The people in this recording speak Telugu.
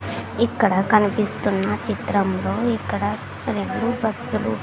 ఇక్కడ కనిపిస్తున్న చిత్రంలో ఇక్కడ రెండు బస్సులు .